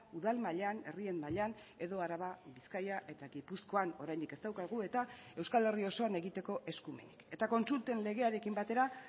udal mailan herrien mailan edo araba bizkaia eta gipuzkoan oraindik ez daukagu eta euskal herri osoan egiteko eskumenik eta kontsulten legearekin batera